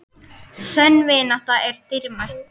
Sönn vinátta er dýrmæt.